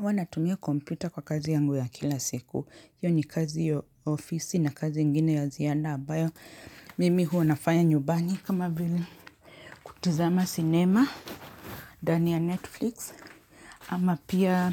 Huwa natumia kompyuta kwa kazi yangu ya kila siku, hiyo ni kazi ya ofisi na kazi ingine ya ziada ambayo, mimi huwa nafanya nyumbani. Kama vili kutizama cinema, ndani ya netflix, ama pia